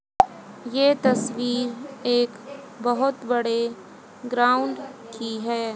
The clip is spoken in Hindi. ये तस्वीर एक बहोत बड़े ग्राउंड की है।